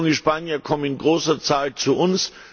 Junge Spanier kommen in großer Zahl zu uns.